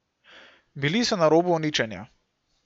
Bili so na robu uničenja.